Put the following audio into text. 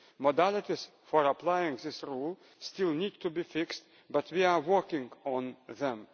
Modalities for applying this rule still need to be fixed, but we are working on them.